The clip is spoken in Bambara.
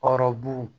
Hɔrɔn